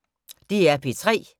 DR P3